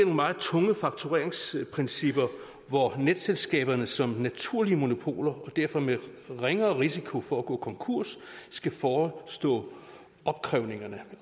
meget tunge faktureringsprincipper hvor netselskaberne som naturlige monopoler og derfor med ringere risiko for at gå konkurs skal forestå